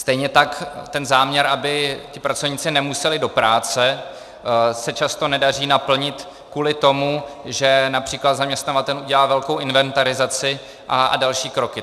Stejně tak ten záměr, aby ti pracovníci nemuseli do práce, se často nedaří naplnit kvůli tomu, že například zaměstnavatel udělá velkou inventarizaci a další kroky.